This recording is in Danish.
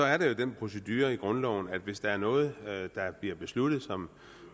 er der jo den procedure i grundloven at hvis der er noget der bliver besluttet som